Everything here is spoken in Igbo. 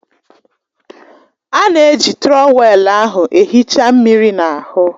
A na-eji trọwèlu ahụ ehicha mmiri n'ahụ